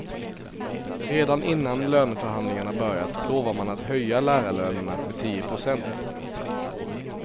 Redan innan löneförhandlingarna börjat lovar man att höja lärarlönerna med tio procent.